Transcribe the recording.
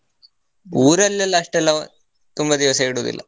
ಊರಲ್ಲಿ ಎಲ್ಲ ಅಷ್ಟೆಲ್ಲ, ತುಂಬಾ ದಿವಸ ಇಡುದಿಲ್ಲ.